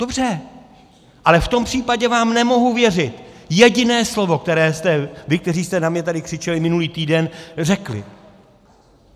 Dobře, ale v tom případě vám nemohu věřit jediné slovo, které jste vy, kteří jste na mě tady křičeli minulý týden, řekli.